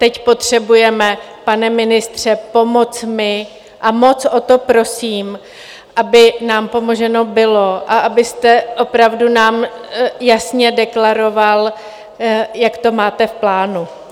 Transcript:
Teď potřebujeme, pane ministře, pomoc my a moc o to prosím, aby nám pomoženo bylo a abyste opravdu nám jasně deklaroval, jak to máte v plánu.